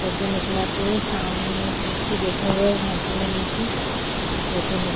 photo निकलाते वो सामने एक व्यक्ति बैठा हुआ है झाकी मे नीचे ये फोटो ने--